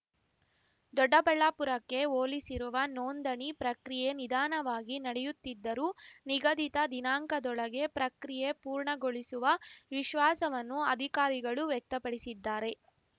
ದೊಡ್ಡಬಳ್ಳಾಪುರಕ್ಕೆ ಹೋಲಿಸಿರುವ ನೋಂದಣಿ ಪ್ರಕ್ರಿಯೆ ನಿಧಾನವಾಗಿ ನಡೆಯುತ್ತಿದ್ದರೂ ನಿಗದಿತ ದಿನಾಂಕದೊಳಗೆ ಪ್ರಕ್ರಿಯೆ ಪೂರ್ಣಗೊಳಿಸುವ ವಿಶ್ವಾಸವನ್ನು ಅಧಿಕಾರಿಗಳು ವ್ಯಕ್ತಪಡಿಸಿದ್ದಾರೆ